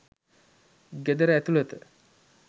ගෙදර ඇතුළත